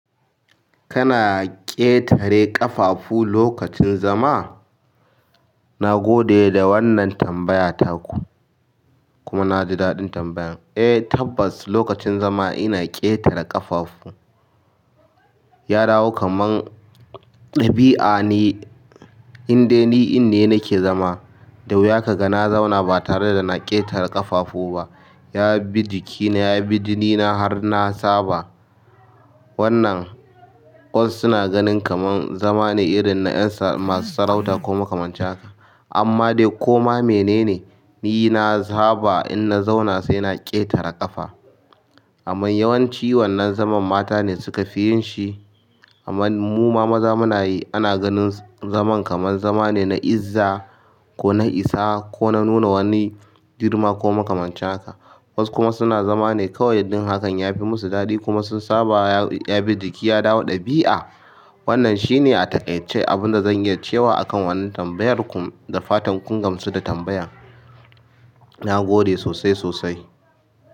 Kana ƙetare ƙafafu lokacin zama? Nagode da wannan tambaya taku. Kuma naji daɗin tambayan. Eh tabbas lokacin zama ina ƙetare ƙafafu. Ya dawo kaman ɗabi'a ne in dai ni in ne nake zama. Da wuya kaga na zauna ba tare dana ƙetare ƙafafu ba. Ya bi jikina, ya bi jinina har na saba. Wannan wasu suna ganin kamar zama ne irin na ƴansa masu sarauta ko makamancin haka amma dai koma menene, ni na saba in na zauna sai na ƙetare ƙafa. Amma yawanci wannan zaman mata ne suka fi yin shi. Amman muma maza muna yi. Ana ganin zaman kamar zama ne na izza ko na isa ko na nuna wani girma ko makamancin haka. Wasu kuma suna zama ne kawai don yin hakan yafi masu daɗi kuma sun saba ya ya bi jiki, ya dawo ɗabi'a. Wannan shine a taƙaice abinda zan iya cewa akan wannan tambayar ku. Dafatan kun gamsu da tambayan? Nagode sosai sosai.